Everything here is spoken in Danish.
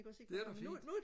det er da fint